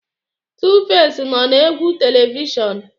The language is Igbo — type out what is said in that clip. Tuface nọ na egwu telivishọn.